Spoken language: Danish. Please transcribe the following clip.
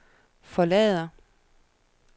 forlader